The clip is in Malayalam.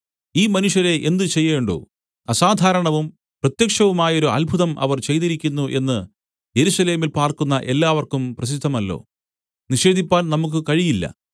ഈ മനുഷ്യരെ എന്ത് ചെയ്യേണ്ടു അസാധാരണവും പ്രത്യക്ഷവുമായൊരു അത്ഭുതം അവർ ചെയ്തിരിക്കുന്നു എന്ന് യെരൂശലേമിൽ പാർക്കുന്ന എല്ലാവർക്കും പ്രസിദ്ധമല്ലോ നിഷേധിപ്പാൻ നമുക്ക് കഴിയില്ല